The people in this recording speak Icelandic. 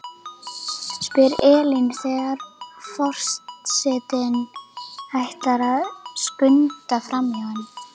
spyr Elín þegar for- setinn ætlar að skunda framhjá henni.